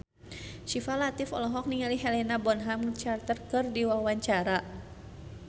Syifa Latief olohok ningali Helena Bonham Carter keur diwawancara